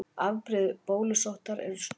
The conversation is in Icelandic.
Afbrigði bólusóttar eru tvö.